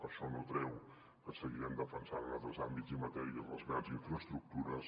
això no treu que seguirem defen·sant en altres àmbits i matèries les grans infraestructures